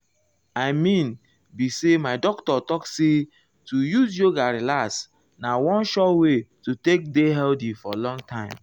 i mean be say my doctor talk say to use yoga relax na one sure wey to um take dey healthy for long time.